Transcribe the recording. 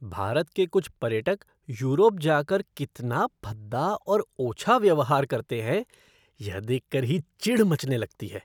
भारत के कुछ पर्यटक यूरोप जा कर कितना भद्दा और ओछा व्यवहार करते हैं, यह देख कर ही चिढ़ मचने लगती है।